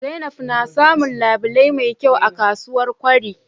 zainab na samun labile me kyau a ksuwar kwari